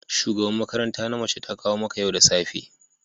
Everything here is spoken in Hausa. shugaban makaranta na mace ta kawo maka yau da safe